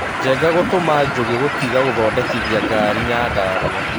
Njenga gũtũma njugi gũtiga gũthondekithia ngari Nyandarua